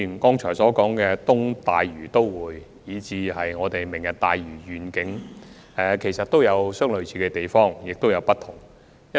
剛才所提及的東大嶼都會，以及"明日大嶼願景"，兩者既有類似的地方，但亦有不同之處。